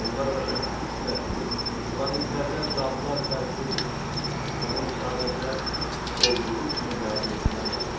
Onlar başa düşmüşdülər ki, planetlərdə dadlar fərqlidir və bunu sadəcə olduğu kimi qəbul etmək lazımdır.